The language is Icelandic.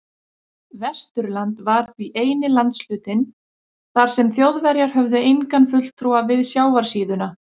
Vesturland var því eini landshlutinn, þar sem Þjóðverjar höfðu engan fulltrúa við sjávarsíðuna.